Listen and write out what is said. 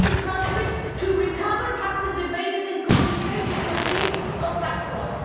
countries to recover taxes evaded and confiscate the proceeds of tax fraud.